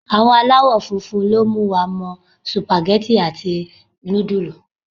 Àwọn alawofunfun ló mú wa mọ supageti àti nudulu.